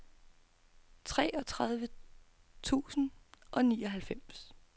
treogtredive tusind og nioghalvtreds